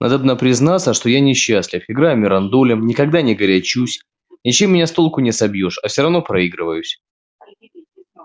надобно признаться что я несчастлив играю мирандолем никогда не горячусь ничем меня с толку не собьёшь а все проигрываюсь